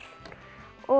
og